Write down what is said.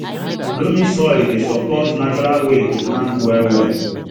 loamy soil dey support natural way to plant well well